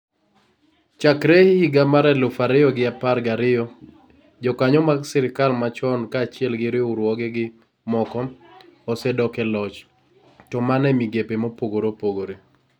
Chakre higa mar elufu ariyo gi apar gariyo, jokanyo mag sirkal machon kaachiel gi riwruogegi moko, osedok e loch, to mana e migepe mopogore opogore.